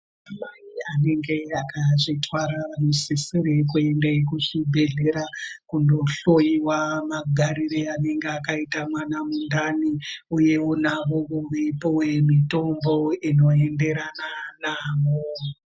Anamai anenge akazvitwara anosisire kuende kuzvibhedhlera ,kundohloiwa magarire anenga akaita mwana mundani ,uyewo navowo veipuwe mitombo inoenderana navo.